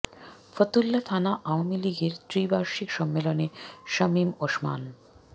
ফতুল্লা থানা আওয়ামী লীগের ত্রি বার্ষিক সম্মেলনে শামীম ওসমান